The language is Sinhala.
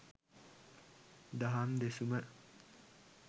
දහම් දෙසුම